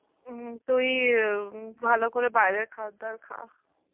হম তুই উম ভালো করে বাইরের খাবার দাবার খা